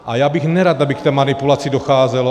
A já bych nerad, aby k té manipulaci docházelo.